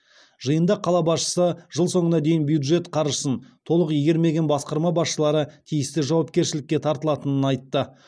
жиында қала басшысы жыл соңына дейін бюджет қаржысын толық игермеген басқарма басшылары тиісті жауапкершілікке тартылатынын айтты